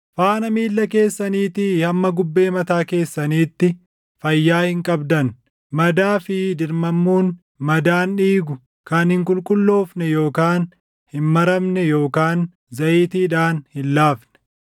Faana miilla keessaniitii hamma gubbee mataa keessaniitti, fayyaa hin qabdan; madaa fi dirmammuun, madaan dhiigu, kan hin qulqulloofne yookaan hin maramne yookaan zayitiidhaan hin laafne.